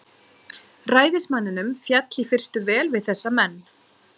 Ræðismanninum féll í fyrstu vel við þessa menn.